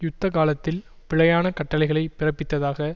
யுத்த காலத்தில் பிழையான கட்டளைகளை பிறப்பித்ததாக